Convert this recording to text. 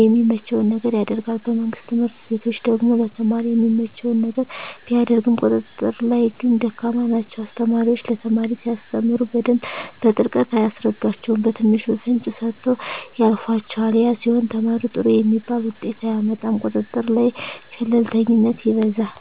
የሚመቸዉን ነገር ያደርጋል በመንግስት ትምህርት ቤቶች ደግሞ ለተማሪ የሚመቸዉን ነገር ቢያደርጉም ቁጥጥር ላይ ግን ደካማ ናቸዉ አስተማሪዎች ለተማሪ ሲያስተምሩ በደንብ በጥልቀት አያስረዷቸዉም በትንሹ ፍንጭ ሰጥተዉ ያልፏቸዋል ያ ሲሆን ተማሪዉ ጥሩ የሚባል ዉጤት አያመጣም ቁጥጥር ላይ ቸልተኝነት ይበዛል